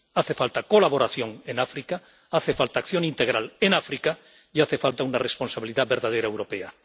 Hace falta colaboración en África, hace falta acción integral en África y hace falta una responsabilidad verdadera europea.